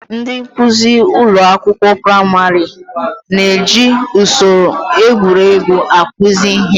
Ndị nkuzi ụlọ akwụkwọ praịmarị na-eji usoro egwuregwu akụzi ihe.